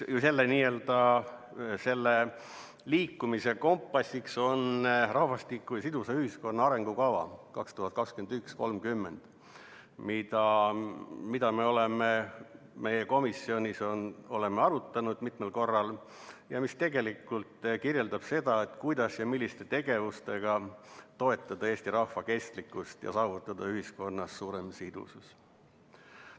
Selle liikumise kompassiks on "Rahvastiku ja sidusa ühiskonna arengukava 2021–2030", mida me oleme meie komisjonis arutanud mitmel korral ja mis kirjeldab seda, kuidas ja milliste tegevustega toetada eesti rahva kestlikkust ja saavutada ühiskonnas suurem sidusus.